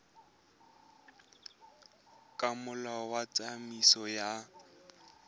ka molao wa tsamaiso ya